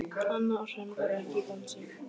Anna og Hrönn voru ekki í dansi.